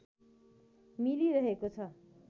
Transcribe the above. मिलिरहेको छ